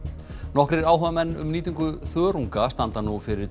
nokkrir áhugamenn um nýtingu þörunga standa nú fyrir